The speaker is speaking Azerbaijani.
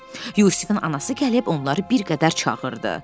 Yusifin anası gəlib onları bir qədər çağırdı.